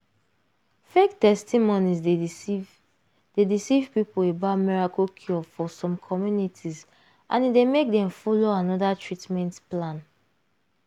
fake testimonies dey deceive dey deceive people about miracle cure for some communities and e dey make dem follow another treatment plan.